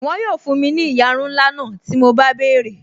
Wọn yóò fún mi ní ìyarun ńlá náà tí mo bá béèrè